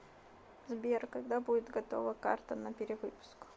сбер когда будет готова карта на перевыпуск